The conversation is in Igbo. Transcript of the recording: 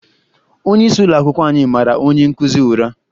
Onyeisi ụlọakwụkwọ anyị mara onye nkụzi ụra